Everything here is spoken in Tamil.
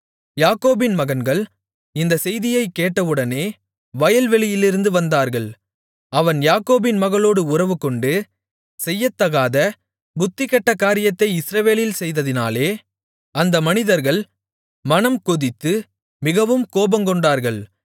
யாக்கோபின் மகன்கள் இந்தச் செய்தியைக் கேட்டவுடனே வயல்வெளியிலிருந்து வந்தார்கள் அவன் யாக்கோபின் மகளோடு உறவுகொண்டு செய்யத்தகாத புத்திகெட்ட காரியத்தை இஸ்ரவேலில் செய்ததினாலே அந்த மனிதர்கள் மனம்கொதித்து மிகவும் கோபங்கொண்டார்கள்